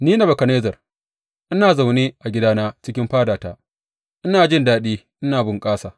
Ni, Nebukadnezzar, ina zaune a gidana cikin fadata, ina jin daɗi ina bunkasa.